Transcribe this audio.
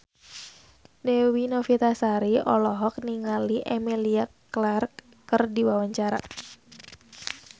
Dewi Novitasari olohok ningali Emilia Clarke keur diwawancara